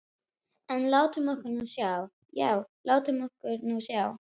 En látum okkur nú sjá, já, látum okkur nú sjá.